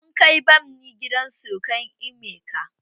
Mun kai bami gidan surukan emeka.